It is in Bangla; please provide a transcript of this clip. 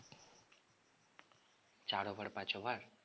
চার over পাঁচ over